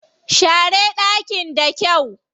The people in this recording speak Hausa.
Share ɗakin da kyau.